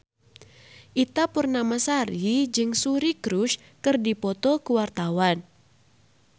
Ita Purnamasari jeung Suri Cruise keur dipoto ku wartawan